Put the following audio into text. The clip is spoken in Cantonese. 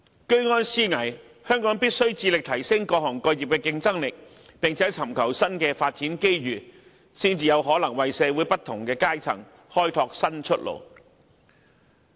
居安思危，香港必須致力提升各行各業的競爭力，並且尋求新的發展機遇，才能為社會不同階層開拓新出路。